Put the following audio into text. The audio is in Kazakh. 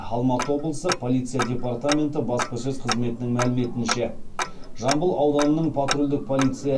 алматы облыстық полиция департаменті баспасөз қызметінің мәліметінше жамбыл ауданының патрульдік полиция